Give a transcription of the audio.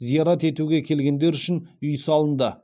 зиярат етуге келгендер үшін үй салынды